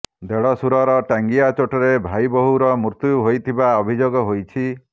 ଦେଢଶୂରର ଟାଙ୍ଗିଆ ଚୋଟରେ ଭାଇବୋହୂର ମୃତ୍ୟୁ ହୋଇଥିବା ଅଭିଯୋଗ ହୋଇଛି